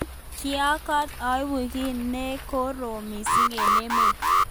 Kiotok koeku ki nekorom missing eng emet.